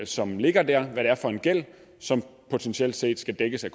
som ligger der og hvad det er for en gæld som potentielt set skal dækkes af